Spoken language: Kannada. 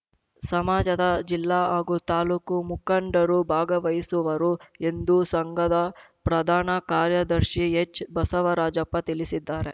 ಸಮಾಜದ ಜಿಲ್ಲಾ ಹಾಗೂ ತಾಲೂಕು ಮುಖಂಡರು ಭಾಗವಹಿಸುವರು ಎಂದು ಸಂಘದ ಪ್ರಧಾನ ಕಾರ್ಯದರ್ಶಿ ಎಚ್‌ಬಸವರಾಜಪ್ಪ ತಿಳಿಸಿದ್ದಾರೆ